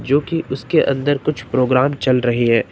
जो की उसके अंदर कुछ प्रोग्राम चल रही है।